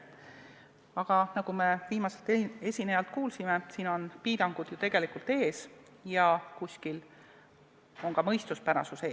Aga nagu me viimaselt esinejalt kuulsime, piirangud on ju tegelikult ees ja kuskil on ka mõistuspärasus ees.